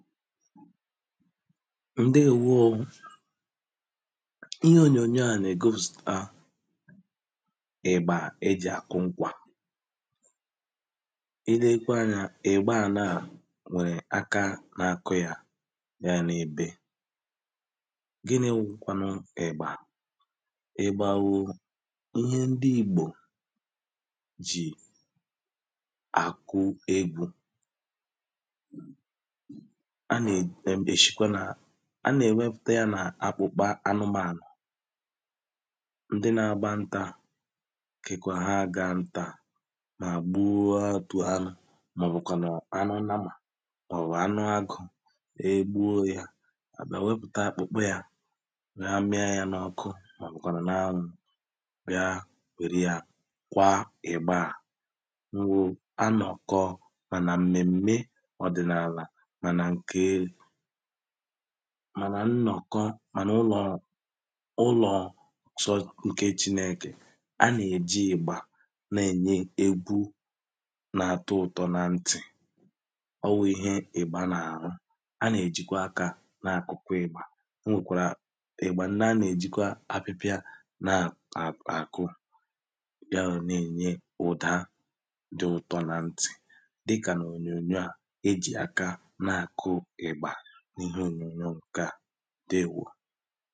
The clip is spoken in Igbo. ǹdeēwōō ihe ònyònyò a nà-ègosìpụ̀ta ị̀gbà ejì àkụ nkwà ilekwe anyā ị̀gbà a nà nwèrè aka nà-àkụ yā ya nà-èbe gini wụ kwanụ ị̀gbà ị̀gbà wụ ihe ndi igbò jì àkụ egwū a nè ɛ̄m èshikwa nà a nà-èwéfùté yā nà akpụkpa anụmānụ̀ ndi nà gba ntā kekwa ha agā ńtā mà gbụọ ā ọtụ̀ anụ̄ màọ̀wụ̀ kwànụ̀ anụ nnamà ọ̀ wù anụ agụ̄ egbuo yā àbia wepùta àkpụ̀kpụ yā nà mịa yā n’ọkụ màọ̀wụ̀ kwànụ̀ n’anwụ̄ bịa nwèru yā kwa ị̀gbà à ruo anọ̀kọ mà nà m̀mèmme ọdịnala mà nà ǹke ē mà na nnọ̀kọ mà n’ụlọọ̄ ụlọ̀ chọ ǹke chinēkè ha nà-èji ị̀gbà nà-ènye egwu nà-àtụtọ̄ na ntì ọ wụ̀ ihe ị̀gba nà-àrụ ha nà-èjikwa akā na-àkụkwị ị̀gbà o nwè kwàrà ị̀gbà ndi a nà-èjikwa apịpịa na ā àkụ bịa nọ̀ na-ènye ụ̀da dị̀ ụtọ̄ na ntì dị kà ònyònyò a ejì aka na-àkụ ị̀gbà niihe ònyònyò ǹkè a dewōō